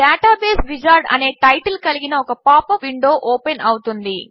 database wizard అని title కలిగిన ఒక పాప్ అప్ విండో ఓపెన్ అవుతుంది